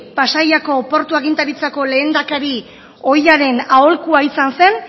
pasaiako portu agintaritzako lehendakari ohiaren aholkua izan zen